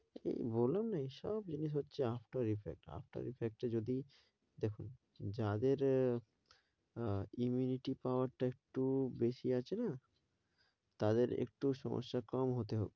এই বললাম না এইসব জিনিস হচ্ছে after effect, after effect এ যদি দেখুন যাদের আহ immunity power টা একটু বেশি আছে না তাদের একটু সমস্যা কম হতে,